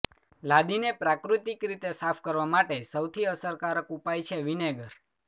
લાદીને પ્રાકૃતિક રીતે સાફ કરવા માટે સૌથી અસરકારક ઉપાય છે વિનેગર